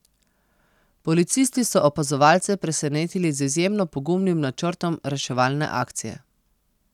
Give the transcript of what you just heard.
Policisti so opazovalce presenetili z izjemno pogumnim načrtom reševalne akcije.